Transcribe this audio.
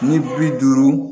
Ni bi duuru